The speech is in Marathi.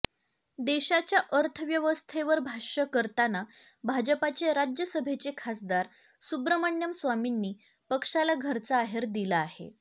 देशाच्या अर्थव्यवस्थेवर भाष्य करताना भाजपाचे राज्यसभेचे खासदार सुब्रमण्यम स्वामींनी पक्षाला घरचा आहेर दिला आहे